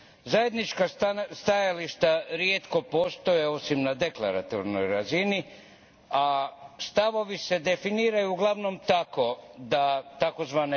Zajednička stajališta rijetko postoje, osim na deklaratornoj razini, a stavovi se definiraju uglavnom tako da tzv.